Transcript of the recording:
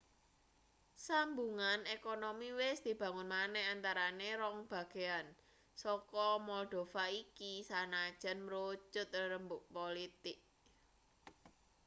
sambungan ekonomi wis dibangun maneh antarane rong bagean saka moldova iki sanajan mrucut rerembug politik